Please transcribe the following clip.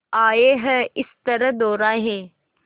आए हैं इस तरह दोराहे